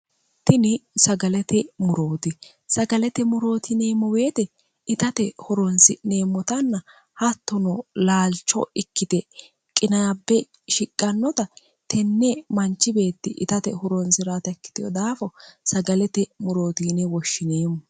tini sagalete murooti sagalete murootineemmo beete itate horoonsi'neemmotanna hattono laalcho ikkite qinaabbe shiqqannota tenne manchi beetti itate horoonsi'rat ikkiteho daafo sagalete murootiine woshshineemmo